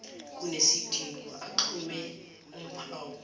kunesidingo axhume uphawu